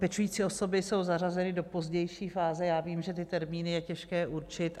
Pečující osoby jsou zařazeny do pozdější fáze, já vím, že ty termíny je těžké určit.